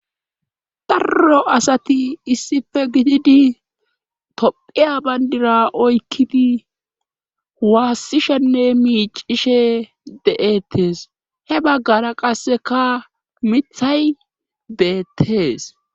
darro asati issife gididi tophiya bandira oykkidi waassishenne miicishe de7ettes he baggara qasseka mithay beettees